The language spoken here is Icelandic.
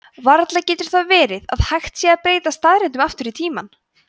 varla getur það verið að hægt sé að breyta staðreyndum aftur í tímann